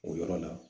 O yɔrɔ la